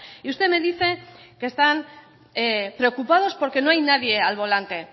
y usted me dice que están preocupados porque no hay nadie al volante